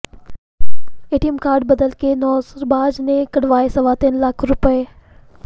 ATM card ਬਦਲ ਕੇ ਨੌਸਰਬਾਜ਼ ਨੇ ਕੱਢਵਾਏ ਸਵਾ ਤਿੰਨ ਲੱਖ ਰੁਪਏ